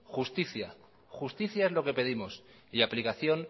justicia justicia es lo que pedimos y aplicación